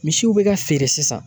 Misiw bɛ ka feere sisan.